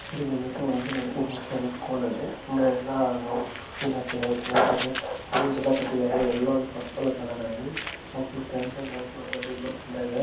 ಇದು ಬಂದು function hall ಸ್ಕೂ ಲಲ್ಲಿ ಹಿಂಗೇ ಎಲ್ಲ ಸ್ಟೂಲ್ ಹಾಕಿದಾರೆ ಚೆನ್ನಾಗಿ ಇದೆ ಬಲ್ಲೋನ್ಸ್ ಎಲ್ಲ ಕಟ್ಟಿದರೆ ಎಲ್ಲೊ ಅಂಡ್ ಪರ್ಪಲ್ ಕಲರ್ ಅಲ್ಲಿ ಮಕ್ಳು ಸ್ಟಾಂಡ್ ಆಗಿ ಡಾನ್ಸ್ ಮಾಡ್ತಿದಾರೆ ನೋಡಕೆ ಚೆಂದಾಗಿದೆ.